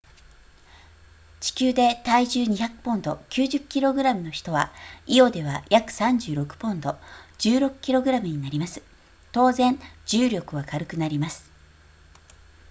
地球で体重200ポンド 90kg の人はイオでは約36ポンド 16kg になります当然重力は軽くなります